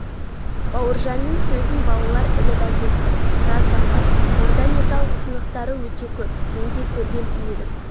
бауыржанның сөзін балалар іліп әкетті рас апай онда металл сынықтары өте көп мен де көргем үйіліп